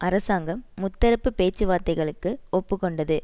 அரசாங்கம் முத்தரப்பு பேச்சு வார்த்தைகளுக்கு ஒப்பு கொண்டது